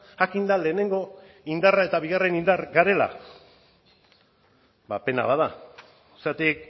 jakinda lehenengo indarra eta bigarren indar garela pena bat da zergatik